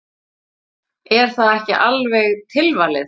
Er það ekki alveg tilvalið?